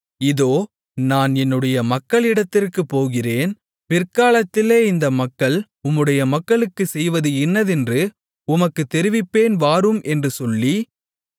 இதோ நான் என்னுடைய மக்களிடத்திற்குப் போகிறேன் பிற்காலத்திலே இந்த மக்கள் உம்முடைய மக்களுக்குச் செய்வது இன்னதென்று உமக்குத் தெரிவிப்பேன் வாரும் என்று சொல்லி